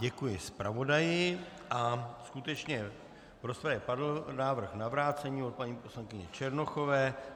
Děkuji zpravodaji a skutečně v rozpravě padl návrh na vrácení od paní poslankyně Černochové.